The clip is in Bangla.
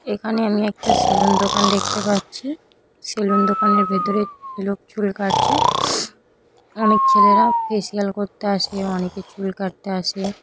এখানে আমি একটা সেলুন দোকান দেখতে পাচ্ছি । সেলুন দোকানের ভেতরে লোক চুল কাটছে । অনেক ছেলেরা ফেসিয়াল করতে আসে অনেকে চুল কাটতে আসে ।